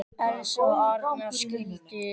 Elsa og Arnar skildu.